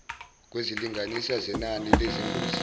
kwezilinganiso zenani lezingozi